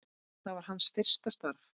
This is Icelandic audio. Það var hans fyrsta starf.